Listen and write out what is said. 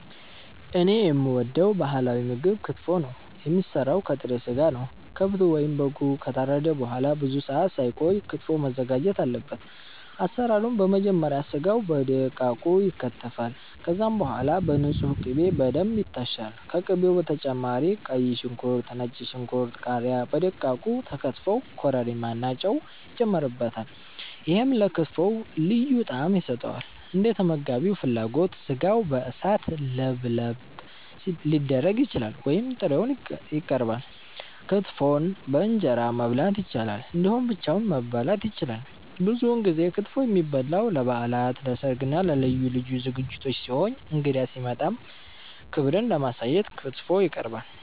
እኔ የምወደው ባህላዊ ምግብ ክትፎ ነው። የሚሰራው ከጥሬ ስጋ ነው። ከብቱ ወይም በጉ ከታረደ በኋላ ብዙ ሰአት ሳይቆይ ክትፎው መዘጋጀት አለበት። አሰራሩም በመጀመሪያ ስጋው በደቃቁ ይከተፋል። ከዛም በኋላ በንጹህ ቅቤ በደንብ ይታሻል። ከቅቤው በተጨማሪ ቀይ ሽንኩርት፣ ነጭ ሽንኩርት፣ ቃሪያ በደቃቁ ተከትፈው ኮረሪማ እና ጨው ይጨመርበታል። ይሄም ለክትፎው ልዩ ጣዕም ይሰጠዋል። እንደተመጋቢው ፍላጎት ስጋው በእሳት ለብለብ ሊደረግ ይችላል ወይም ጥሬውን ይቀርባል። ክትፎን በእንጀራ መብላት ይቻላል እንዲሁም ብቻውን መበላት ይችላል። ብዙውን ጊዜ ክትፎ የሚበላው ለበዓላት፣ ለሰርግ እና ለልዩ ልዩ ዝግጅቶች ሲሆን እንግዳ ሲመጣም ክብርን ለማሳየት ክትፎ ይቀርባል።